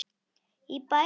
Í bæinn, já!